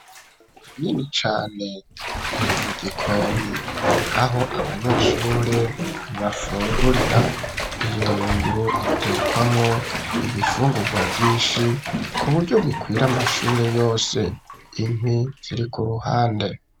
Ingunguru nini cane iri mu gikoni aho abanyeshuri bafungurira iyi ngunguru itekwamo ibifungurwa vyishi kuburyo bikwira amashuri yose inkwi ziri ku ruhande